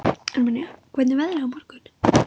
Armenía, hvernig er veðrið á morgun?